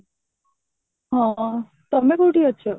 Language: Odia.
ହଁ ତମେ କୋଉଠି ଅଛ